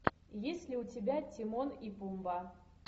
есть ли у тебя тимон и пумба